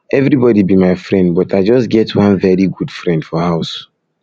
everybody be my friend but i just get one very good friend for house